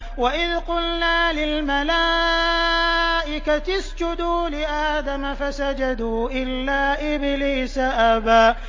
وَإِذْ قُلْنَا لِلْمَلَائِكَةِ اسْجُدُوا لِآدَمَ فَسَجَدُوا إِلَّا إِبْلِيسَ أَبَىٰ